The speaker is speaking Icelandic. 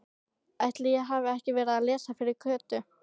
Ætli ég hafi ekki verið að lesa fyrir Kötu.